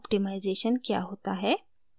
optimization क्या होता है